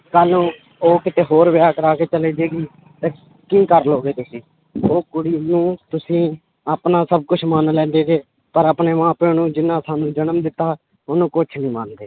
ਕੱਲ੍ਹ ਨੂੰ ਉਹ ਕਿਤੇ ਹੋਰ ਵਿਆਹ ਕਰਵਾ ਕੇ ਚਲੇ ਜਾਏਗੀ ਤੇ ਕੀ ਕਰ ਲਓਗੇ ਤੁਸੀਂ ਉਹ ਕੁੜੀ ਨੂੰ ਤੁਸੀਂ ਆਪਣਾ ਸਭ ਕੁਛ ਮਨ ਲੈਂਦੇ ਪਰ ਆਪਣੇ ਮਾਂ ਪਿਓ ਨੂੰ ਜਿਹਨਾਂ ਸਾਨੂੰ ਜਨਮ ਦਿੱਤਾ ਉਹਨੂੰ ਕੁਛ ਨੀ ਮੰਨਦੇ